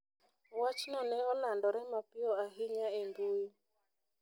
Wachno ne olandore mapiyo ahinya e mbui.